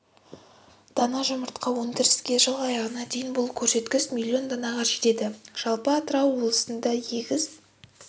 дана жұмыртқа өндірсе жыл аяғына дейін бұл көрсеткіш миллион данаға жетеді жалпы атырау облысында егіс